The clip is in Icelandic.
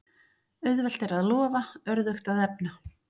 Auðvelt er að lofa, örðugt að efna.